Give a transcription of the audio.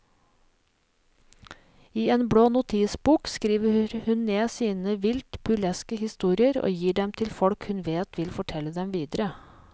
I en blå notisbok skriver hun ned sine vilt burleske historier og gir dem til folk hun vet vil fortelle dem videre.